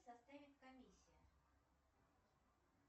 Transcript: составит комиссия